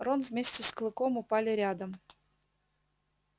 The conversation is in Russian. рон вместе с клыком упали рядом